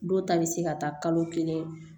Dɔw ta bɛ se ka taa kalo kelen